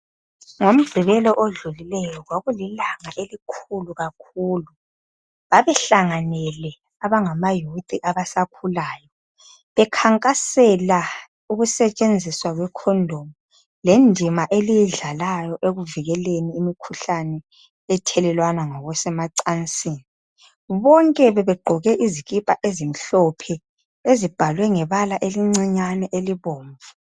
NgoMgibelo odlulileyo, kwakulilanga elikhulu kakhulu .Babehlanganyele abangamayouth abasakhulayo. Bekhankaseka ukusetshenziswa kwecondom. Kendima eliyidlalayo, ekuvikeleni imikhuhlane, ethelelwana ngokusemacansini. Bonke bebegqoke izikipa ezimhlophe ezibhalwe ngebala elincane elibomvu.